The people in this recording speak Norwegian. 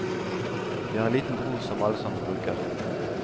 Vi har en liten bro som alle sammen bruker.